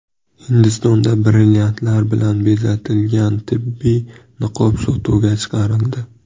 Hindistonda brilliantlar bilan bezatilgan tibbiy niqob sotuvga chiqarildi.